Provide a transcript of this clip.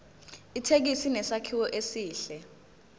ithekisi inesakhiwo esihle